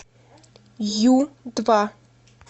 ю два